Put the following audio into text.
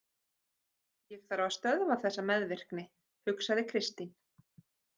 Ég þarf að stöðva þessa meðvirkni, hugsaði Kristín.